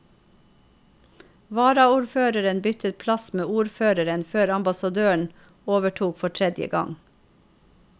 Varaordføreren byttet plass med ordføreren før ambassadøren overtok for tredje gang.